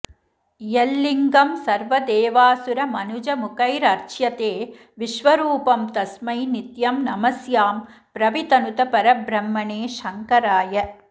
यल्लिङ्गं सर्वदेवासुरमनुजमुखैरर्च्यते विश्वरूपं तस्मै नित्यं नमस्यां प्रवितनुत परब्रह्मणे शंकराय